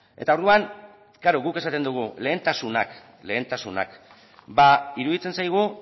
eta orduan klaro guk esaten dugu lehentasunakba iruditzen zaigu